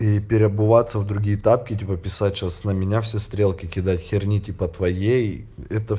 и переобуваться в другие тапки типа писать сейчас на меня все стрелки кидать херни типа твоей это